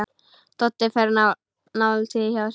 Doddi fer dálítið hjá sér.